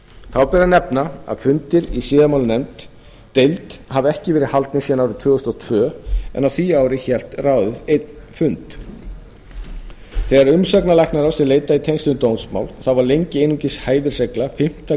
þá ber að nefna að fundir í siðamáladeild hafa ekki verið haldnir síðan árið tvö þúsund og tvö en á því ári hélt ráðið einn fund þegar umsagnar læknaráðs er hins vegar leitað í tengslum við dómsmál þá var lengi einungis hæfisregla fimmtu